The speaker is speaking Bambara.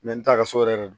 n t'a kɛ so yɛrɛ don